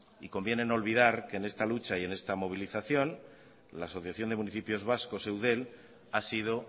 y conviene no olvidar que en esta lucha y esta movilización la asociación de los municipios vascos eudel ha sido